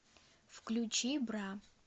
включи бра